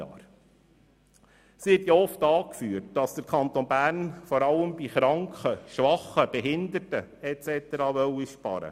Es wird oft angeführt, der Kanton Bern wolle vor allem bei Kranken, Schwachen und Behinderten sparen.